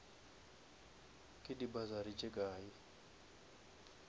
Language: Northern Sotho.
ke di bursary tše kae